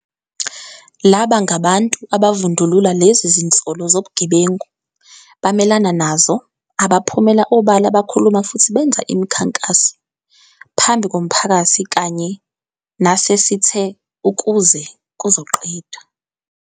Laba ngabantu abavundulula lezi zinsolo zobugebengu, bamelana nazo, abaphumela obala bakhuluma futhi benza imikhankaso - phambi komphakathi kanye nasesithe - ukuze kuzoqedwa.